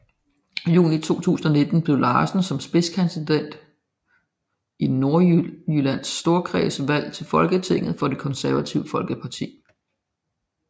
Juni 2019 blev Larsen som spidskandidat i Nordjyllands Storkreds valgt til Folketinget for Det Konservative Folkeparti